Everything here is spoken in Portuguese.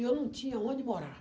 E eu não tinha onde morar.